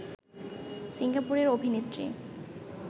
সিঙ্গাপুরের অভিনেত্রী